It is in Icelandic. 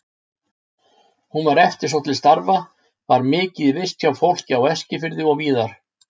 Hún var eftirsótt til starfa, var mikið í vist hjá fólki á Eskifirði og víðar.